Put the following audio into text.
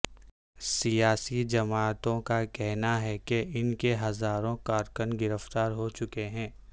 سیاسی جماعتوں کا کہنا ہے کہ ان کے ہزاروں کارکن گرفتار ہو چکے ہیں